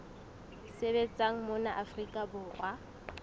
sebetsang mona afrika borwa di